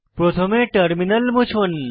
প্রথমে টার্মিনাল মুছুন